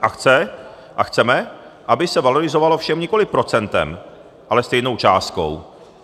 A chceme, aby se valorizovalo všem nikoliv procentem, ale stejnou částkou.